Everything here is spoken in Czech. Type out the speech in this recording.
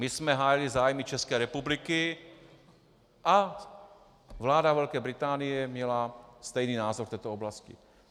My jsme hájili zájmy České republiky a vláda Velké Británie měla stejný názor v této oblasti.